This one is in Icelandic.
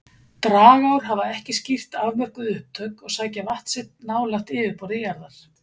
Dragár hafa ekki skýrt afmörkuð upptök og sækja vatn sitt nálægt yfirborði jarðar.